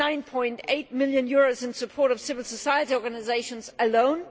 9.8 million in support of civil society organisations alone.